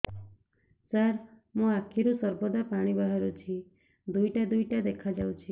ସାର ମୋ ଆଖିରୁ ସର୍ବଦା ପାଣି ବାହାରୁଛି ଦୁଇଟା ଦୁଇଟା ଦେଖାଯାଉଛି